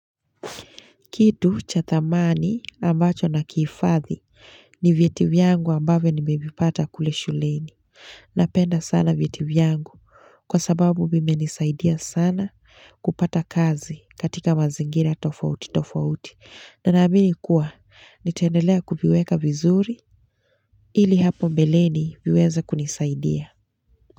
Kitu cha thamani ambacho na kihifadhi ni vyeti vyangu ambavyo nimevipata kule shuleni. Napenda sana vyeti vyangu kwa sababu vimenisaidia sana kupata kazi katika mazingira tofauti tofauti. Na naamini kuwa nitaendelea kukiviweka vizuri ili hapo mbeleni viweze kunisaidia.